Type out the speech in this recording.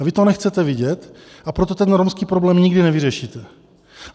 A vy to nechcete vidět, a proto ten romský problém nikdy nevyřešíte.